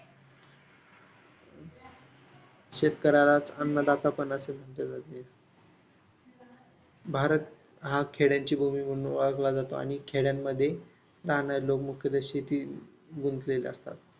शेतकऱ्याला अन्नदाता भारत हा खेड्यांची भूमी म्हणून ओळखला जातो आणि खेड्यांमध्ये राहाणारे लोक मुख्यता शेतीत गुंतलेले असतात.